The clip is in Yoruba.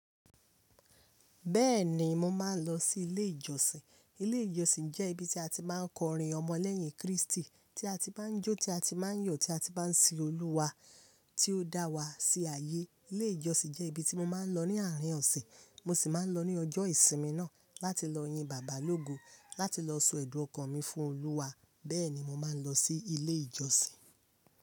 Bẹ́ẹ̀ni, mo máa ń lọ sí ilé ìjọsìn. Ilé ìjọsìn jẹ́ ibi tí a ti máa ń kọrin ọmọ lẹ́yìn Kristi, tí a ti máa ń jó, tí a ti máa ń yọ̀, tí a ti máa ń sin Olúwa tí ó dá wa sí ayé. Ilé ìjọsìn jẹ́ ibi tí mo máa ń lọ ní àárín ọ̀sẹ̀. Mo sì máa ń lọ ní ọjọ́ ìsinmi náà láti lọ yin Bàbá lógo, láti lọ sọ ẹ̀dùn ọkàn mi fún Olúwa. Bẹ́ẹ̀ni, mo máa ń lọ sí ilé ìjọsìn.